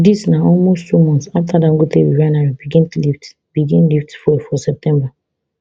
dis na almost two months afta dangote refinery begin lift begin lift fuel for september